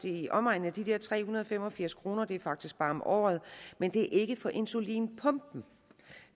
i omegnen af tre hundrede og fem og firs kroner det er faktisk bare om året men det er ikke for insulinpumpen